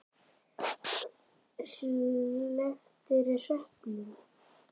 Slepptirðu sveppunum?